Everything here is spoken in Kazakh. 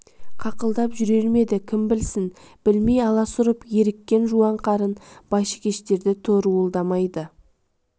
қақылдап жүрер ме еді кім білсін блмей аласұрып еріккен жуан қарын байшыкештерді торуылдамайды